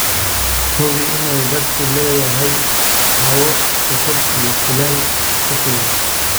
Hubi in daadadku leeyahay hawo cusub iyo kulayl ku filan.